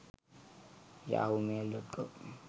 yahoo mail.com